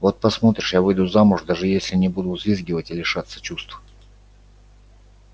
вот посмотришь я выйду замуж даже если не буду взвизгивать и лишаться чувств